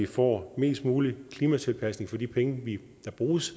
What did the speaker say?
får mest mulig klimatilpasning for de penge der bruges